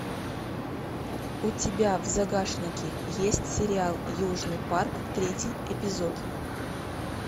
у тебя в загашнике есть сериал южный парк третий эпизод